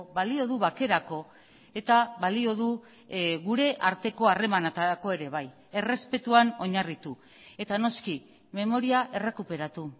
balio du bakerako eta balio du gure arteko harremanetarako ere bai errespetuan oinarritu eta noski memoria errekuperatu